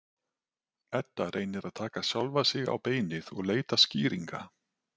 Edda reynir að taka sjálfa sig á beinið og leita skýringa.